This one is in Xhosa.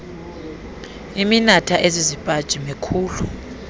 iminatha ezizipaji mikhulu